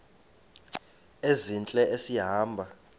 ezintle esi hamba